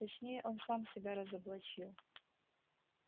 точнее он сам себя разоблачил